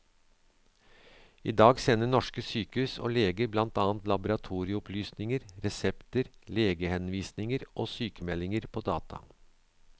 I dag sender norske sykehus og leger blant annet laboratorieopplysninger, resepter, legehenvisninger og sykemeldinger på data.